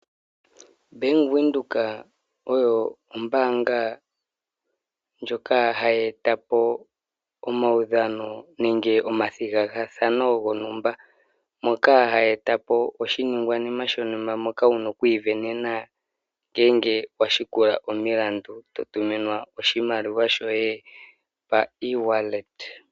Bank Windhoek oyo ombaanga ndjoka hayi eta po omaudhano nenge omathigathano gontumba, moka hayi eta po oshiningwanima shontumba moka wuna okwiivenena ngele wa landula omilandu eto tuminwa oshimaliwa shoye pa easy wallet,